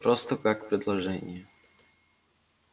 просто как предложение